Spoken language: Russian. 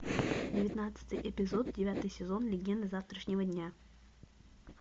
девятнадцатый эпизод девятый сезон легенды завтрашнего дня